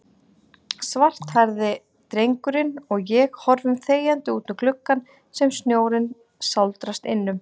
Svarthærði drengurinn og ég horfum þegjandi útum gluggann sem snjórinn sáldrast innum.